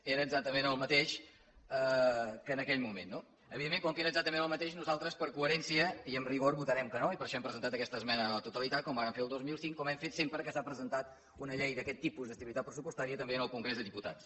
era exactament el mateix en aquell moment no evidentment com que era exactament el mateix nosaltres per coherència i amb rigor votarem que no i per això hem presentat aquesta esmena a la totalitat com vàrem fer el dos mil cinc com hem fet sempre que s’ha presentat una llei d’aquest tipus d’estabilitat pressupostària i també en el congrés dels diputats